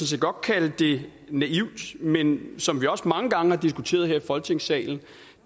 set godt kan kalde det naivt men som vi også mange gange har diskuteret her i folketingssalen